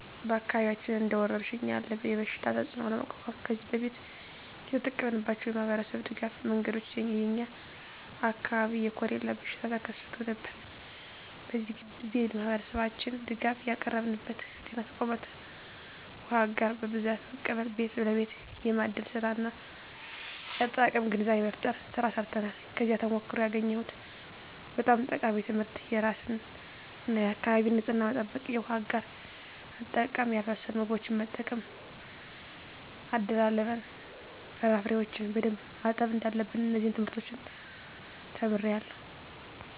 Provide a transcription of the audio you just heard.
በአካባቢያችን እንደ ወረርሽኝ ያለ የበሽታ ተፅእኖ ለመቋቋም ከዚህ በፊት የተጠቀምንባቸው የማኅበረሰብ ድጋፍ መንገዶች የ የኛ አካባቢ የኮሬላ በሽታ ተከስቶ ነበር። በዚያ ግዜ ለማህበረሠባችን ድጋፍ ያቀረብንበት ከጤና ተቋማት ዉሃ አጋር በብዛት በመቀበል ቤት ለቤት የማደል ስራ እና የአጠቃቀም ግንዛቤ መፍጠር ስራ ሰርተናል። ከዚያ ተሞክሮ ያገኘሁት በጣም ጠቃሚ ትምህርት የራስን እና የአካቢን ንፅህና መጠበቅ፣ የውሃ አጋር አጠቃቀም፣ ያልበሰሉ ምግቦችን መጠቀም እደለለብን፣ ፍራፍሬዎችን በደንብ ማጠብ እዳለብን። እነዚን ትምህርቶች ተምሬአለሁ።